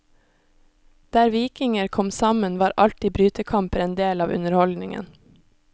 Der vikinger kom sammen var alltid brytekamper en del av underholdningen.